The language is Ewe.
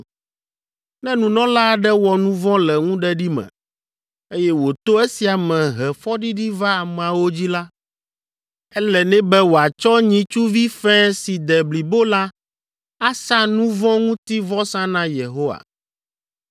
“ ‘Ne nunɔla aɖe wɔ nu vɔ̃ le ŋuɖeɖi me, eye wòto esia me he fɔɖiɖi va ameawo dzi la, ele nɛ be wòatsɔ nyitsuvi fɛ̃ si de blibo la asa nu vɔ̃ ŋuti vɔsa na Yehowa.